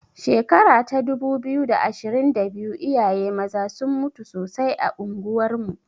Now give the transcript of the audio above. Shekara ta dubu biyu da ashirin da biyu iyaye maza sun mutu sosai a unguwar mu.